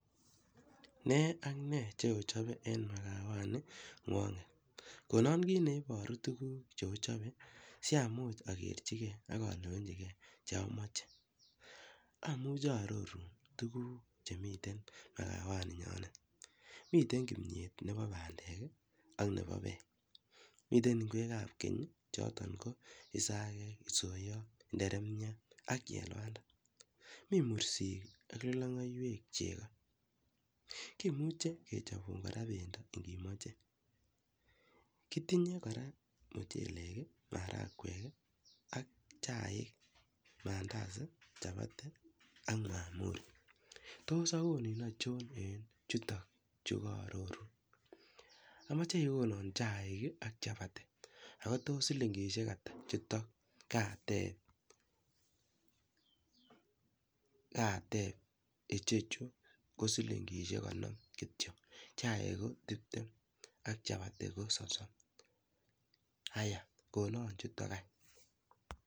Ne ak ne cheochape en marawani Konan kit neibaru tuguk cheochape siamuch agerchigei chemache amuche arrorun tuguk Chemiten arawaninyonet miten kimiet Nebo bandek ak Nebo bek miten ingwek ab Keny ak chuton ko isagek, isoiyot ,inderemiat ak chelwanda mi mursik ak lilungaiwek chego kimuche kecahbun kora bendo kot imache kotinye koraa mchelek maragwek ak chaik Mandazi chapati ak mahamuri akonin achon Chuto karoru amache igonan chai ak chapati anan kotos shilingishek Ata ntakateb ichochu ko shilingishek konom kityo chaik ko tibtem ak chai ak chapati kososom aiya konon chuton